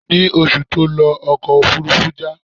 Ní oṣù tí ó lọ, ọkọ̀ òfúrúfú já.